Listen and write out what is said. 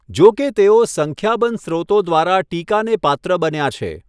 જો કે તેઓ સંખ્યાબંધ સ્રોતો દ્વારા ટીકાને પાત્ર બન્યા છે.